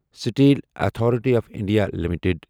steel authority of India limited